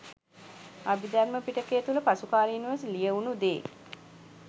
අභිධර්ම පිටකය තුල පසුකාලීනව ලියවුන දේ